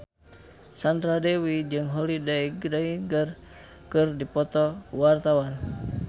Sandra Dewi jeung Holliday Grainger keur dipoto ku wartawan